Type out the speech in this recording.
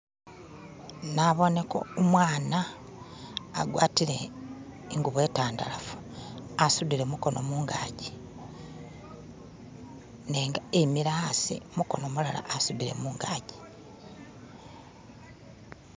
Naboone ko umwana agwatile i'ngubo intandalafu asudile mukono mungaji nenga emele asi mukono mulala asudile mungaji